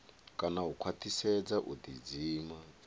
kana u khwaṱhisedza u ḓidzima